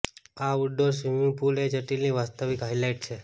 outdoor swimming pool એ જટિલની વાસ્તવિક હાઇલાઇટ છે